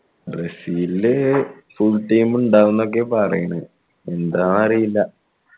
Brazil full time ഇണ്ടാവും എന്നൊക്കെയാ പാറയണ് എന്താ അറീല